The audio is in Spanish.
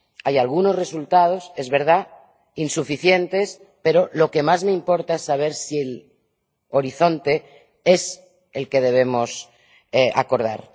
Hay algunos resultados, es verdad, insuficientes, pero lo que más me importa es saber si el horizonte es el que debemos acordar.